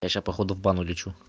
я сейчас походу в бан улечу